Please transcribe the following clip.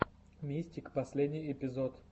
мистик последний эпизод